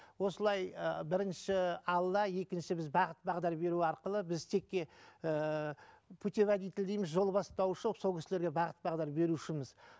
осылай ы бірінші алла екінші біз бағыт бағдар беру арқылы біз текке ііі путеводитель дейміз жол бастаушы болып сол кісілерге бағыт бағдар берушіміз